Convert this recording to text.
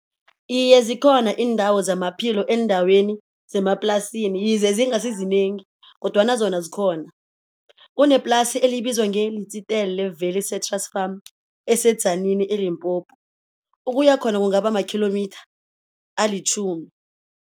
Iye zikhona iindawo zamaphilo eendaweni zemaplasini yize zingasi zinengi kodwana zona zikhona. Kuneplasi elibizwa ngeLitsitele Valley Citrus Farm eseTzaneen, eLimpopo, ukuya khona kungaba makhilomitha alitjhumi.